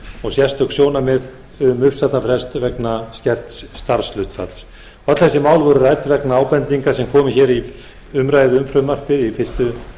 og sérstök sjónarmið um uppsagnarfrest vegna skerts starfshlutfalls öll þessi mál voru rædd vegna ábendinga sem fram komu í fyrstu